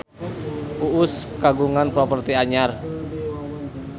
Uus kagungan properti anyar